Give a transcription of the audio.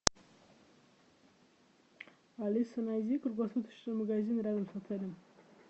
алиса найди круглосуточный магазин рядом с отелем